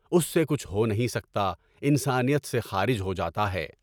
اُس سے کچھ ہو نہیں سکتا، انسانیت سے خارج ہو جاتا ہے۔